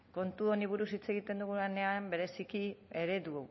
kontu honi buruz hitz egiten dugunean bereziki eredu